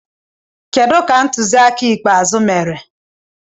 Kedu ka ntuli aka ikpeazụ mere?